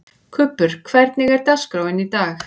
Kubbur, hvernig er dagskráin í dag?